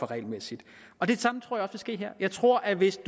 regelmæssigt og det samme tror jeg ske her jeg tror at hvis